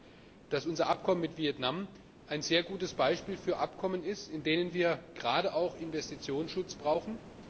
Ich glaube, dass unser Abkommen mit Vietnam ein sehr gutes Beispiel für Abkommen ist, in denen wir gerade auch Investitionsschutz brauchen.